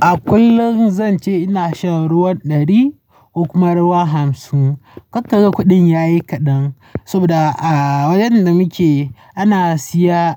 A kullum zan ce ina shan ruwan ɗari ko kuma ruwan hamsin. Karka ga kuɗin yayi kaɗan saboda a wajen da muke ana siya